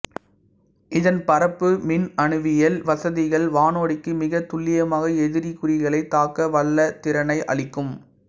இதன் பறப்பு மின்னணுவியல் வசதிகள் வானோடிக்கு மிக துல்லியமாக எதிரி குறிகளை தாக்க வல்ல திறனை அளிக்கும்